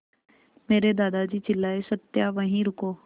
मेरे दादाजी चिल्लाए सत्या वहीं रुको